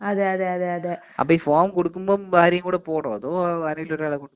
അപ്പൊ ഈ ഫോം കൊടുക്കുമ്പം ഭാര്യയും കൂടെ പോവണോ? അതോ ആരെങ്കിലും ഒരാൾ കൊണ്ട് കൊടുത്താ മതിയോ *നോട്ട്‌ ക്ലിയർ*